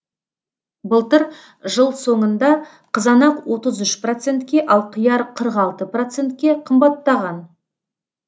былтыр жыл соңында қызанақ отыз үш процентке ал қияр қырық алты процентке қымбаттаған